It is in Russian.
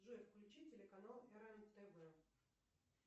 джой включи телеканал рен тв